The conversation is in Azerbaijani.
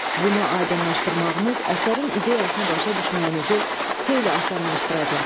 Bunu aydınlaşdırmağınız əsərin ideyasını başa düşməyinizi xeyli asanlaşdıracaq.